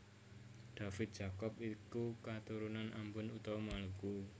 David Jacobs iku katurunan Ambon utawa Maluku